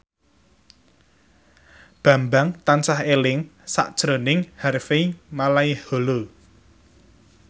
Bambang tansah eling sakjroning Harvey Malaiholo